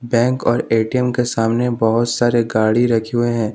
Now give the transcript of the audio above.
Bank और A T M के सामने बहोत सारे गाड़ी रखे हुए हैं।